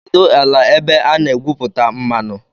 Kedụ ala ebe a na-egwupụta mmanụ?